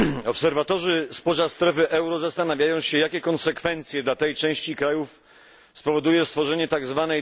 Obserwatorzy spoza strefy euro zastanawiają się, jakie konsekwencje dla tej części krajów spowoduje stworzenie tzw.